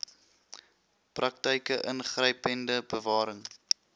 praktyke ingrypende bewaring